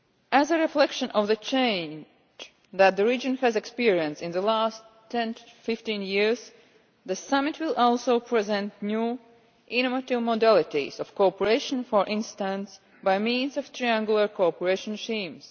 As a reflection of the change that the region has experienced in the last 10 to 15 years, the summit will also present new, innovative modalities of cooperation, for instance by means of triangular cooperation schemes.